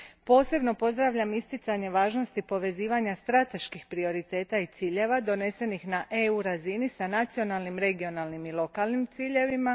Posebno pozdravljam isticanje važnosti povezivanja strateških prioriteta i ciljeva donesenih na EU razini s nacionalnim, regionalnim i lokalnim ciljevima.